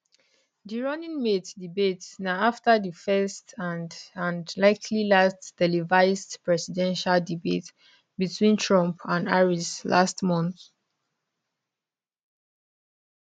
di running mates debate na afta di first and and likely last televised presidential debate betwin trump and harris last month